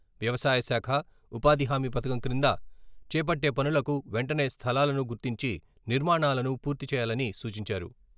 వ్యవసాయశాఖ, ఉపాధి హామీ పథకం క్రింద చేపట్టే పనులకు వెంటనే స్థలాలను గుర్తించి నిర్మాణాలను పూర్తి చేయాలనీ సూచించారు.